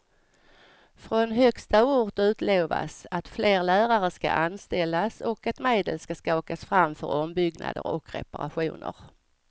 Från högsta ort utlovas att fler lärare ska anställas och att medel ska skakas fram för ombyggnader och reparationer.